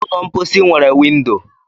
Ụlọ mposi nwere windo.